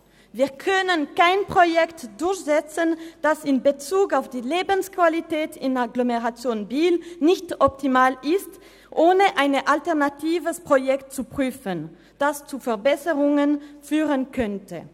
Wir können kein Projekt durchsetzen, das in Bezug auf die Lebensqualität in der Agglomeration Biel nicht optimal ist, ohne ein alternatives Projekt zu prüfen, das zu Verbesserungen führen könnte.